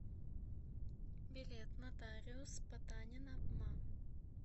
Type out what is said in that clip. билет нотариус потанина ма